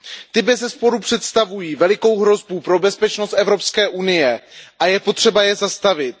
Ti bezesporu představují velikou hrozbu pro bezpečnost EU a je potřeba je zastavit.